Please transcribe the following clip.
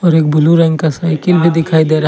एक ब्लू रंग का साइकिल भी दिखाई दे रहा--